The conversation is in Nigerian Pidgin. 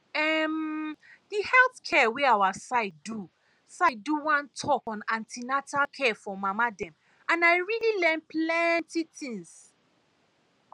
em the health center wey our side do side do one talk on an ten atal care for mama dem and i really learn plenty things